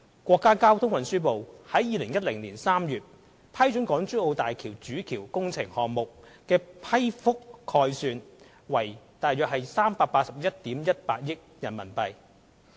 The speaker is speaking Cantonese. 國家交通運輸部於2010年3月批准港珠澳大橋主橋工程項目的批覆概算為約381億 1,800 萬元人民幣。